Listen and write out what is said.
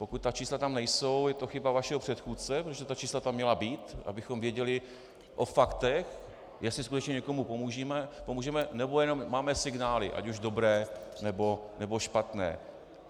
Pokud ta čísla tam nejsou, je to chyba vašeho předchůdce, protože ta čísla tam měla být, abychom věděli o faktech, jestli skutečně někomu pomůžeme, nebo jenom máme signály, ať už dobré, nebo špatné.